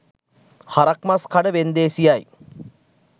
හරක් මස් කඩ වෙන්දේසියයි.